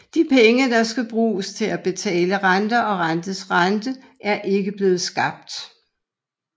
De penge der skal bruges til at betale renter og renters rente er ikke blevet skabt